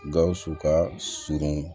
Gawusu ka surun